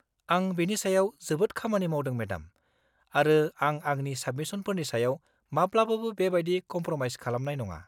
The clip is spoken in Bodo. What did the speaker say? आं बेनि सायाव जोबोद खामानि मावदों मेडाम, आरो आं आंनि साबमिसनफोरनि सायाव माब्लाबाबो बेबायदि कमप्र'माइस खालामनाय नङा।